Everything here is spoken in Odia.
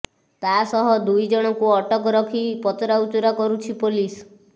ତାସହ ଦୁଇ ଜଣକୁ ଅଟକ ରଖି ପଚରାଉଚରା କରୁଛି ପୋଲିସ